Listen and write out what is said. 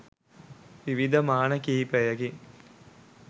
විවිධ මාන කිහිපයකින්